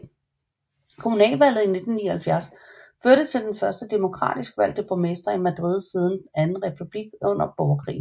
Kommunalvalget i 1979 førte til den første demokratisk valgte borgmester i Madrid siden den anden republik under borgerkrigen